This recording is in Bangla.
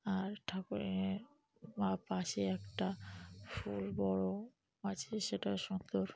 আর ঠাকুর- এর বা পাশে একটা ফুল বড় আছে সেটা সুন্দর।